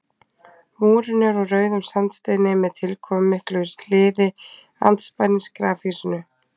múrinn er úr rauðum sandsteini með tilkomumiklu hliði andspænis grafhýsinu